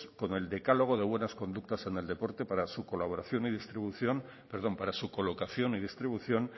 con el decálogo de buenas conductas en el deporte para su colocación y distribución